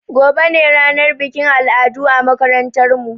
Gobe ne ranar bikin al'adu a makarantar mu